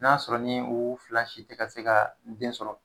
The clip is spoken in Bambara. Ni y'a sɔrɔ ni o fila si te ka se ka den sɔrɔ